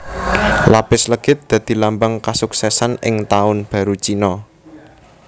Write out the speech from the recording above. Lapis legit dadi lambang kasuksésan ing taun baru Cina